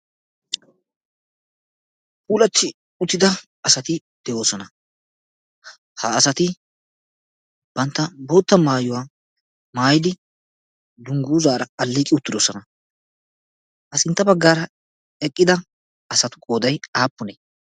Puulati uttida asati de'oosona. Ha asati bantta bootta maayyuwaa maayyidi dungguzaara aleeqqi uttidoosona. Ha sintta baggaara eqqida asatu qoodday aappune?